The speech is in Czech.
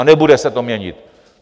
A nebude se to měnit.